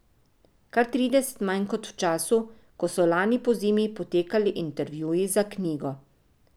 Kar trideset manj kot v času, ko so lani pozimi potekali intervjuji za knjigo.